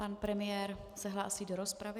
Pan premiér se hlásí do rozpravy.